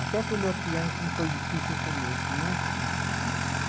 Até para o meu piano, como foi difícil o começo, não é, Simone? Uhum